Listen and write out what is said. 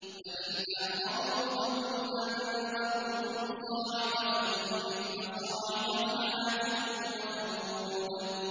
فَإِنْ أَعْرَضُوا فَقُلْ أَنذَرْتُكُمْ صَاعِقَةً مِّثْلَ صَاعِقَةِ عَادٍ وَثَمُودَ